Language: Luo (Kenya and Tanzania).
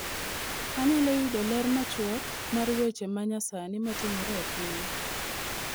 Anyalo yudo ler machuok mar weche ma nyasani matimore e piny